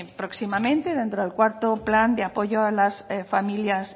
próximamente en el cuarto plan de apoyo a las familias